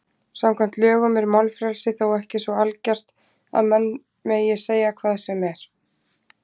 Samkvæmt lögum er málfrelsi þó ekki svo algert að menn megi segja hvað sem er.